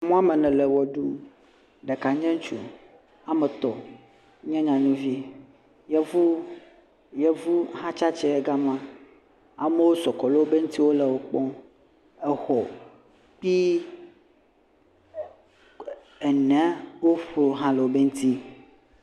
Ame wɔme ene le ʋe ɖum. Ɖeka nye ŋutsu. Wɔme etɔ̃ nye nyɔnuvi. Yevu, yevu hã tsi atsitre ɖe ga me. Amewo sɔ gbɔ ɖe wo ŋuti le wo kpɔm. Exɔ kple enea kpokpo hã le wo ŋuti.